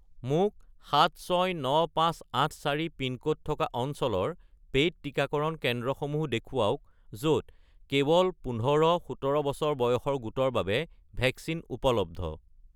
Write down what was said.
মোক 769584 পিনক'ড থকা অঞ্চলৰ পে'ইড টিকাকৰণ কেন্দ্ৰসমূহ দেখুৱাওক য'ত কেৱল ১৫-১৭ বছৰ বয়সৰ গোটৰ বাবে ভেকচিন উপলব্ধ